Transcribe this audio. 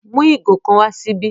Mú igò kan wà síbí!